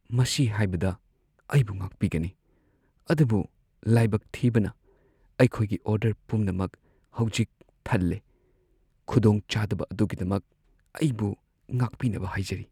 ꯃꯁꯤ ꯍꯥꯏꯕꯗ ꯑꯩꯕꯨ ꯉꯥꯛꯄꯤꯒꯅꯤ, ꯑꯗꯨꯕꯨ ꯂꯥꯏꯕꯛ ꯊꯤꯕꯅ, ꯑꯩꯈꯣꯏꯒꯤ ꯑꯣꯔꯗꯔ ꯄꯨꯝꯅꯃꯛ ꯍꯧꯖꯤꯛ ꯊꯜꯂꯦ ꯫ ꯈꯨꯗꯣꯡꯆꯥꯗꯕ ꯑꯗꯨꯒꯤꯗꯃꯛ ꯑꯩꯕꯨ ꯉꯥꯛꯄꯤꯅꯕ ꯍꯥꯏꯖꯔꯤ ꯫